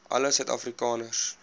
alle suid afrikaners